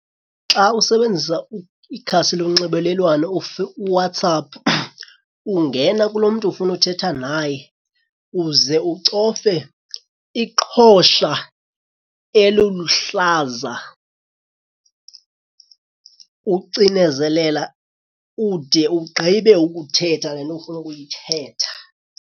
Xa usebenzisa ikhasi lonxibelelwano uWhatsApp ungena kulo mntu ufuna uthetha naye uze ucofe iqhosha eluluhlaza. Ucinezelela ude ugqibe ukuthetha le nto ufuna ukuyithetha.